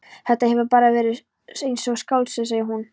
Þetta hefur bara verið eins og í skáldsögu, segir hún.